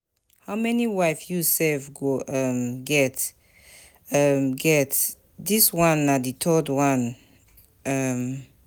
How many wife you sef go um get, um get, dis one na the third one. um